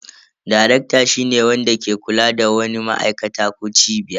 Darekta shine wanda ke kula da wani ma'aikata ko cibiya.